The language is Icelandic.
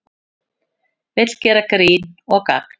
Vill gera grín og gagn